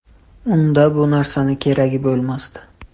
Unda bu narsani keragi bo‘lmasdi.